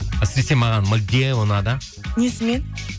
әсіресе маған мальдива ұнады несімен